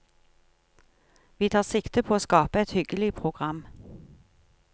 Vi tar sikte på å skape et hyggelig program.